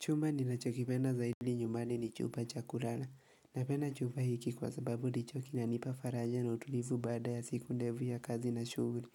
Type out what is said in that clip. Chumba ninachokipenda zaidi nyumbani ni chumba cha kulala. Napenda chumba hiki kwa sababu ndicho kinanipa faraja na utulivu baada ya siku ndefu ya kazi na shughuli.